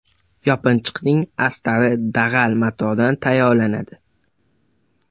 Yopinchiqning astari dag‘al matodan tayyorlanadi.